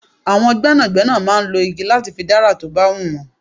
Àwọn gbẹ́nàgbẹ́nà máa ń lọ igi láti fi dára tó bá hun wọn.